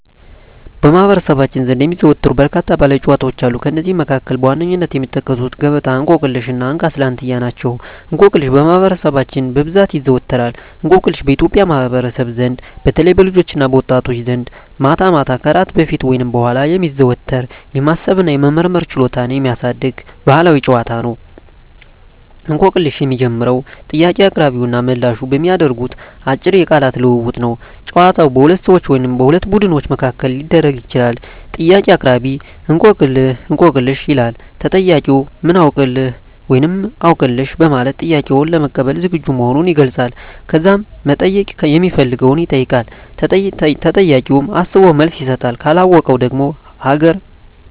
በማኅበረሰባችን ዘንድ የሚዘወተሩ በርካታ ባሕላዊ ጨዋታዎች አሉ። ከእነዚህም መካከል በዋነኝነት የሚጠቀሱት ገበጣ፣ እንቆቅልሽ እና እንካ ስላንትያ ናቸው። እንቆቅልሽ በማህበረሰባችን በብዛት ይዘዎተራል። እንቆቅልሽ በኢትዮጵያ ማኅበረሰብ ዘንድ በተለይም በልጆችና በወጣቶች ዘንድ ማታ ማታ ከእራት በፊት ወይም በኋላ የሚዘወተር፣ የማሰብ እና የመመራመር ችሎታን የሚያሳድግ ባሕላዊ ጨዋታ ነው። እንቆቅልሽ የሚጀምረው ጥያቄ አቅራቢውና ተመልላሹ በሚያደርጉት አጭር የቃላት ልውውጥ ነው። ጨዋታው በሁለት ሰዎች ወይም በሁለት ቡድኖች መካከል ሊደረግ ይችላል። ጥያቄ አቅራቢ፦ "እንቆቅልህ/ሽ?" ይላል። ተጠያቂው፦ "ምን አውቅልህ?" (ወይም "አውቅልሽ") በማለት ጥያቄውን ለመቀበል ዝግጁ መሆኑን ይገልጻል። ከዛም መጠየቅ ሚፈልገውን ይጠይቃል። ተጠያቂውም አስቦ መልስ ይሰጣል። ካለወቀው ደግሞ ሀገ